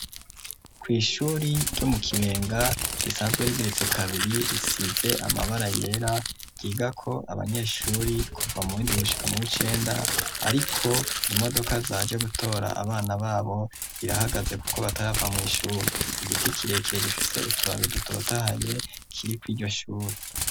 Kw'ishuri ryo mu kibenga risanzwe rigiretse kabiri risize amabara yera, ryiga ko abanyeshuri kuva mu w'indwi gushika mu w'icenda ariko imodoka zaje gutora abana babo rirahagaze kuko batarava mw'ishuri. Igiti kirekire gifise utubabi dutotahaye kiri kw'iryo shuri.